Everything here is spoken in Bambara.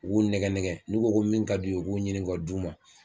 U b'u nɛgɛ negɛ n'u ko ko min ka d'u ye u b'u ɲini k'a d'u ma.